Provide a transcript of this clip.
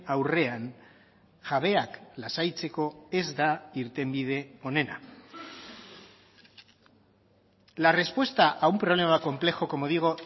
aurrean jabeak lasaitzeko ez da irtenbide onena la respuesta a un problema complejo como digo